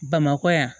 Bamakɔ yan